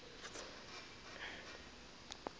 ke be ke kgahlwa ke